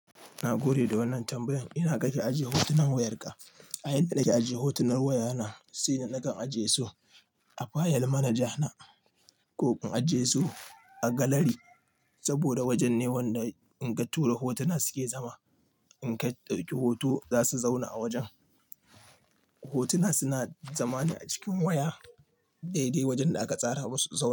Na gode da wannan tambayan. Ina kake ajiye hotunan wayarka? A yayin da nake ajiye hotunan wayana, sai na kan ajiye su a fayil manaja na ko in ajiye su a galari saboda wajen ne wanda inka tura hotuna suke zama. In ka ɗauki hoto za su zauna a wajen. Hotuna suna zama ne a cikin waya daidai wajen da aka tsara masu su zauna.